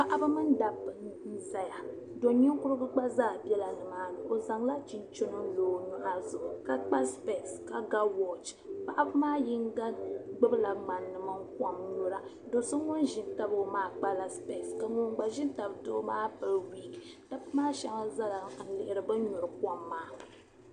Paɣiba mini dabba n-zaya do' ninkurigu gba zaa bela nimaani. O zaŋla chinchini n-lo o nyɔɣu zuɣu ka kpa sipɛsi ka ga wɔchi. Paɣiba maa yiŋga gbibila ŋmani mini kom n-nyura. Do' ŋun ʒi n-tabi o maa kpala sipɛsi ka ŋun gba ʒi n-tabi doo maa pili wiiki. Dabba maa shɛba zala ni n-lihiri bɛ ni nyuri kom maa.